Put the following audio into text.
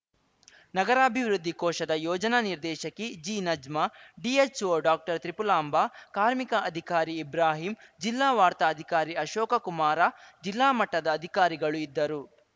ನಗರಾಭಿವೃದ್ಧಿ ಕೋಶದ ಯೋಜನಾ ನಿರ್ದೇಶಕಿ ಜಿನಜ್ಮಾ ಡಿಎಚ್‌ಒ ಡಾಕ್ಟರ್ತ್ರಿಪುಲಾಂಭ ಕಾರ್ಮಿಕ ಅಧಿಕಾರಿ ಇಬ್ರಾಹಿಂ ಜಿಲ್ಲಾ ವಾರ್ತಾ ಅಧಿಕಾರಿ ಅಶೋಕಕುಮಾರ ಜಿಲ್ಲಾ ಮಟ್ಟದ ಅಧಿಕಾರಿಗಳು ಇದ್ದರು